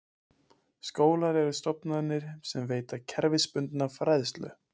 Skólar eru stofnanir sem veita kerfisbundna fræðslu.